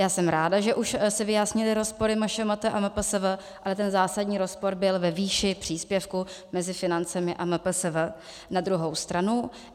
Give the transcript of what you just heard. Já jsem ráda, že už se vyjasnily rozpory MŠMT a MPSV, ale ten zásadní rozpor byl ve výši příspěvku mezi financemi a MPSV na druhou stranu.